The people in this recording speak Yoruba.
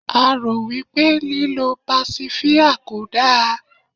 a ro wipe líloo pasifia kò da